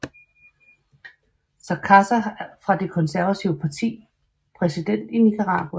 Sacaza fra det konservative parti præsident i Nicaragua